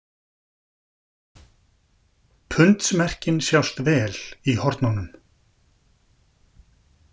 Pundsmerkin sjást vel í hornunum.